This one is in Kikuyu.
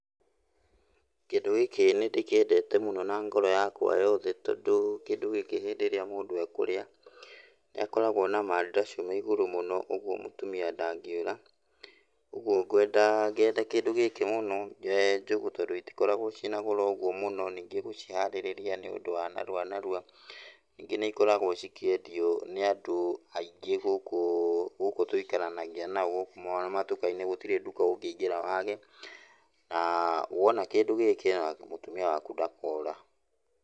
Kĩndũ gĩkĩ nĩndĩkiendete mũno na ngoro yakwa yothe tondũ kĩndũ gĩkĩ hĩndĩ ĩrĩa mũndũ ekũrĩa, nĩakoragwo na mandacu me igũrũ mũno ũgwo mũtumia ndangĩũra. Ugwo ngwenda, ngenda kĩndũ gĩkĩ mũno njũgũ tondũ itikoragwo ciina goro ũgwo mũno ningĩ gũciharĩrĩria nĩ ũndũ wa narua narua, ningĩ nĩikoragwo cikĩendio nĩ andũ aingĩ gũkũ, gũkũ tũikaranagia nao gũkũ matuka-inĩ gũtirĩ nduka ũngĩingĩra wage, na wona kĩndũ gĩkĩ ona mũtumia waku ndakora.